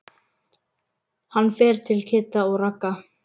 Hann fer til Kidda og Ragga.